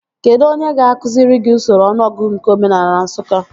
Kedụ onye ga-akụziri gị usoro ọnụọgụgụ nke omenaala Nsụka?